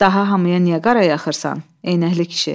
Daha hamıya niyə qara yaxırsan, eynəkli kişi?